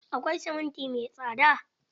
Akwai siminti mai tsada.